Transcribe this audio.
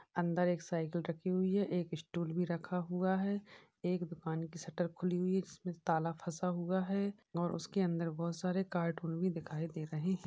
अंदर एक साइकिल रखी हुई है। एक स्टूल भी रखा हुआ है। एक दुकान की शटर खुली हुई है। जिसमे ताला फंसा हुआ है और उसके अन्दर बहुत सारे कार्टून भी दिखाई दे रहे हैं।